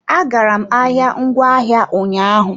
Agara m ahịa ngwaahịa ụnyaahụ.